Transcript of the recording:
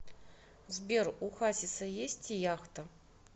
сбер у хасиса есть яхта